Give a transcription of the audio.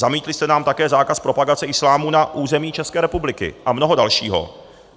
Zamítli jste nám také zákaz propagace islámu na území České republiky a mnoho dalšího.